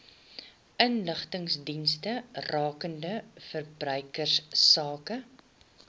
inligtingsdienste rakende verbruikersake